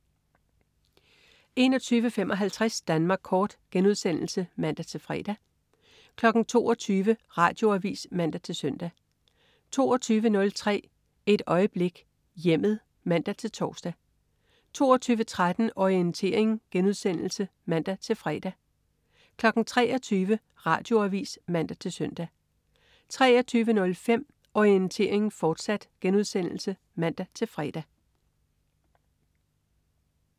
21.55 Danmark Kort* (man-fre) 22.00 Radioavis (man-søn) 22.03 Et øjeblik: Hjemmet (man-tors) 22.13 Orientering* (man-fre) 23.00 Radioavis (man-søn) 23.05 Orientering, fortsat* (man-fre)